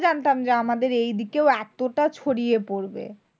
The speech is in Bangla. জানতাম যে আমাদের এইদিকেও এতটা ছড়িয়ে পরবে।